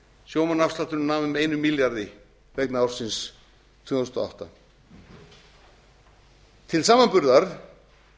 sjómannaafslátturinn nam um einum milljarði vegna ársins tvö þúsund og átta til samanburðar